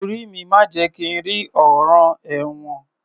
Orí mi má jẹ̀ kí n rí ọ̀ràn ẹ̀wọ̀n